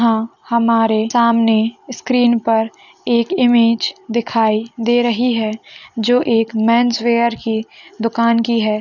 '' यहां हमारे सामने स्क्रीन पर एक इमेज दिखाई दे रही है जो एक मेंस वियर की दुकान की है। ''